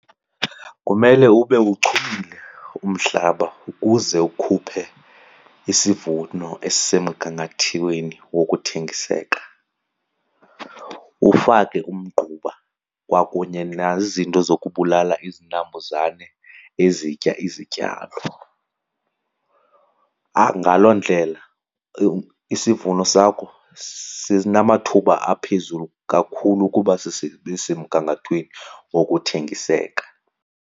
Kumele ube uchumile umhlaba ukuze ukhuphe isivuno esisemgangathweni wokuthengiseka. Ufake umgquba kwakunye nazo izinto zokubulala izinambuzane ezitya izityalo. Ngaloo ndlela isivuno sakho sinamathuba aphezulu kakhulu ukuba sibe semgangathweni wokuthengiseka.